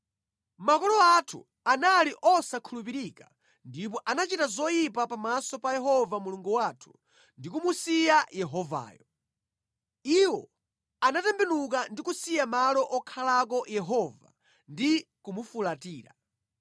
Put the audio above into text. Makolo athu anali osakhulupirika ndipo anachita zoyipa pa maso pa Yehova Mulungu wathu ndi kumusiya Yehovayo. Iwo anatembenuka ndi kusiya malo okhalako Yehova ndi kumufulatira.